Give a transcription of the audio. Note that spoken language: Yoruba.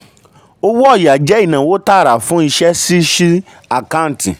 owó ọ̀yà jẹ́ ináwó tààrà fún iṣẹ́ ṣí sí àkáǹtì. um